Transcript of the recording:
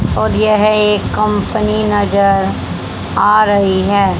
और यह एक कंपनी नजर आ रही है।